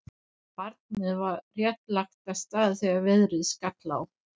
Barnið var rétt lagt af stað þegar veðrið skall á.